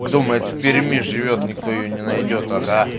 думает в перми живёт никто её не найдёт ага